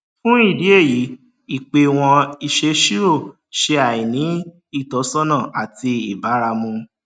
fún ìdí èyí ìpéwọn ìsèsirò ṣe àìní ìtọsọnà àti ìbáramu